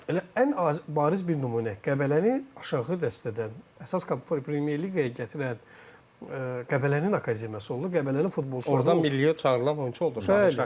Elə ən bariz bir nümunə, Qəbələni aşağı dəstədən əsas Premyer Liqaya gətirən Qəbələnin akademiyası oldu, Qəbələnin futbolçuları oldu.